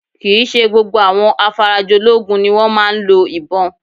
Kì í ṣe gbogbo àwọn afarajológun ni wọ́n máa ń lo ìbọn